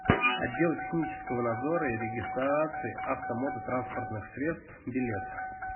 отдел технического надзора и регистрации автомототранспортных средств билет